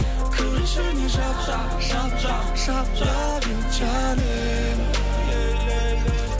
кір ішіне жап жап жап лав ю жаным